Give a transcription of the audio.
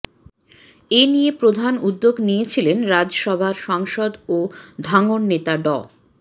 এনিয়ে প্রধান উদ্যোগ নিয়েছিলেন রাজসভার সাংসদ ও ধাঙ্গর নেতা ড